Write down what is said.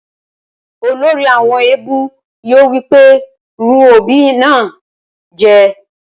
Olórí àwọn éégún yóò wí pé rún obì náà jẹ!